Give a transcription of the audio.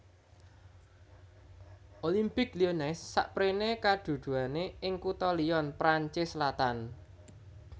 Olympique Lyonnais sapréné kaduduané ing kutha Lyon Prancis selatan